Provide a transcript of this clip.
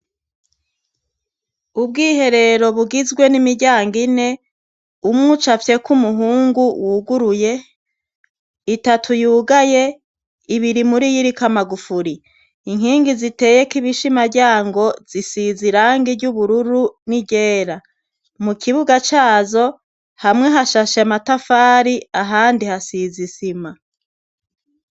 Ubwiherero bugizwe n'imiryango ine, umwe ucafyeko umuhungu wuguruye, itatu yugaye, ibiri muri yo iriko amagufuri. Inkingi ziteyeko ibishimaryango, zisize irangi ry'ubururu n'iryera. Mu kibuga cazo, hamwe hashashe amatafari ahandi hasize isima.